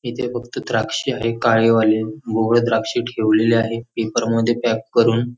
इथे फक्त द्राक्षे आहेत काळेवाले व द्राक्षे ठेवलेले आहेत पेपर मध्ये पॅक करून.